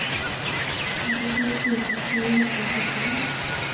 femtito tusen sju hundre og førtini